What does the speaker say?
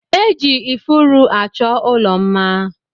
E ji ifuru achọ ụlọ mma